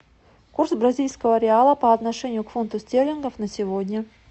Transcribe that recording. курс бразильского реала по отношению к фунту стерлингов на сегодня